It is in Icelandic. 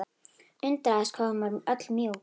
Undraðist hvað hún var öll mjúk.